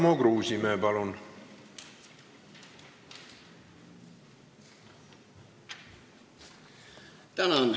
Tarmo Kruusimäe, palun!